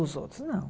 Os outros, não.